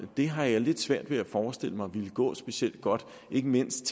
har lidt svært ved at forestille mig vil gå specielt godt ikke mindst